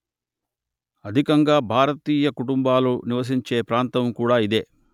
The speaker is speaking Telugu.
అధికంగా భారతీయ కుటుంబాలు నివసించే ప్రాంతం కూడా ఇదే